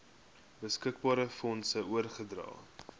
beskikbare fondse oorgedra